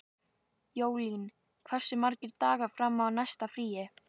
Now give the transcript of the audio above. Jólín, hversu margir dagar fram að næsta fríi?